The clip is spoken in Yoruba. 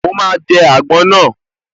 Mo máa jẹ àgbọn náà